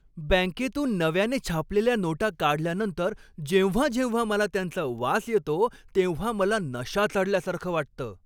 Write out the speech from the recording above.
बँकेतून नव्याने छापलेल्या नोटा काढल्यानंतर जेव्हा जेव्हा मला त्यांचा वास येतो तेव्हा मला नशा चढल्यासारखं वाटतं.